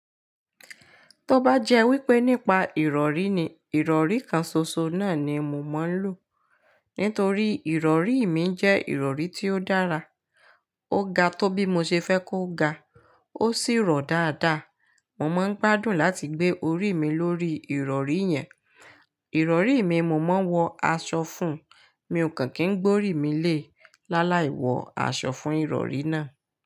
Tó bá jẹ́ wípé nípa ìrọ̀rí ni, ìrọ̀rí kan ṣoṣo náà ni mo máa ń lò. Nítorí ìrọ̀rí mi jẹ́ ìrọ̀rí tí ó dára. Ó ga tó bí mo ṣe fẹ́ kó ga, ó sì rọ̀ dáadáa. Mo máa ń gbádùn láti gbé orí mi lórí ìrọ̀rí yẹn. Ìrọ̀rí mi mo máa ń wọ aṣọ fún un. Mi ò kàn kín gbórí mi lé, láláì wọ aṣọ fún ìrọ̀rí náà.